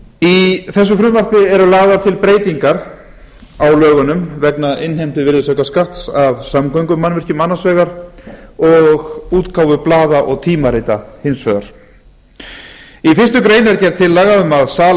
í þessu frumvarpi eru lagðar til breytingar á lögunum vegna innheimtu virðisaukaskatts af samgöngumannvirkjum annars vegar og útgáfu blaða og tímarita hins vegar í fyrstu grein er gerð tillaga um að sala